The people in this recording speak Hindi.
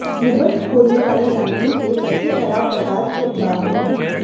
निबंध खोलने वाली लाइनों के सबसे खराब प्रकार के उदाहरण